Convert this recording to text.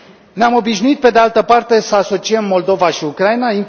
Ne am obișnuit pe de altă parte să asociem Moldova și Ucraina.